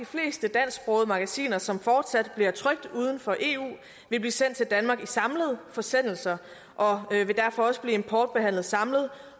og at magasiner som fortsat bliver trykt uden for eu vil blive sendt til danmark i samlede forsendelser og derfor også importbehandlet samlet